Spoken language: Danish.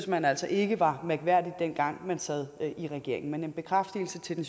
man altså ikke var mærkværdigt dengang man sad i regering men en bekræftelse til den